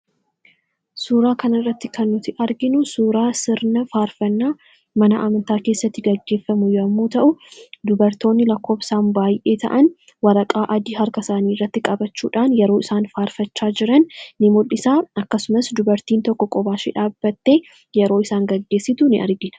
suuraa kana irratti kannuti arginu suuraa sirna faarfannaa mana amantaa keessatti gaggeeffamu yommuu ta'u dubartoonni lakkoobsaan baay'ee ta'an waraqaa adii harka saanii irratti qabachuudhaan yeroo isaan faarfachaa jiran in mul'isaa akkasumas dubartiin tokko qobaashe dhaabatte yeroo isaan gaggeessitu in argina.